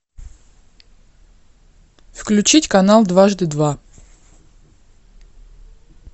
включить канал дважды два